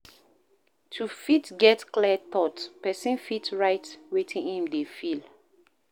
To fit get clear thought, person fit write wetin im dey feel